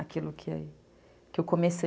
Aquilo que eu comecei.